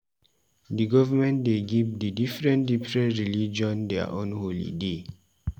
Di government dey give di diferen diferen religion their own holiday.